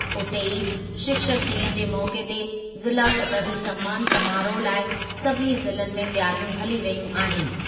उते ई, शिक्षक ॾींहुं जे मौक़े ते ज़िला सतही सन्मानु समारोहु लाइ सभिनी ज़िलनि में तयारियूं हली रहियूं आहिनि।